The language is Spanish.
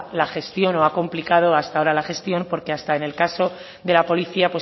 la gestión o ha complicado hasta ahora la gestión porque hasta en el caso de la policía